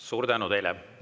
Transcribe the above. Suur tänu teile!